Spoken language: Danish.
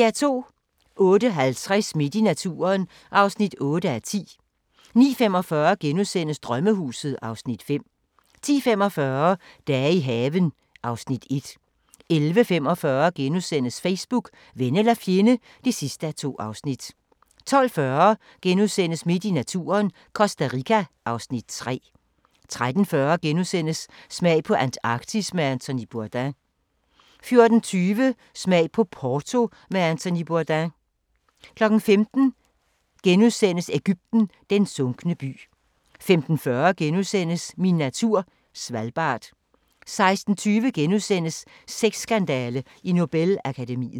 08:50: Midt i naturen (8:10) 09:45: Drømmehuset (Afs. 5)* 10:45: Dage i haven (Afs. 1) 11:45: Facebook – ven eller fjende (2:2)* 12:40: Midt i naturen – Costa Rica (Afs. 3)* 13:40: Smag på Antarktis med Anthony Bourdain * 14:20: Smag på Porto med Anthony Bourdain 15:00: Egypten – den sunkne by * 15:40: Min natur - Svalbard * 16:20: Sexskandale i Nobel-akademiet *